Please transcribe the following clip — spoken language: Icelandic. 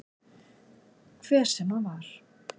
Hver sem hann var.